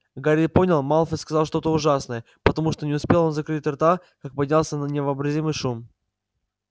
гарри понял малфой сказал что-то ужасное потому что не успел он закрыть рта как поднялся на невообразимый шум